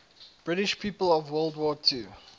british people of world war ii